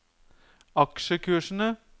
aksjekursene